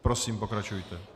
Prosím, pokračujte.